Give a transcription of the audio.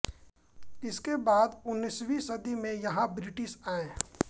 इसके बाद उन्नीसवीं सदी में यहाँ ब्रिटिश आए